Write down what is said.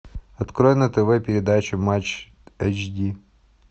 открой на тв передачу матч эйч ди